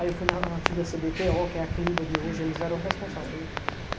Aí eu fui na antiga cê bê pê ô, que é a CLIBA de hoje, eles eram os responsáveis pelo lixo